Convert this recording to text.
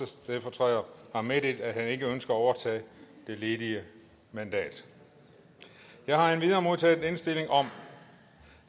stedfortræder har meddelt at han ikke ønsker at overtage det ledige mandat jeg har endvidere modtaget indstilling om